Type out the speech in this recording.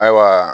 Ayiwa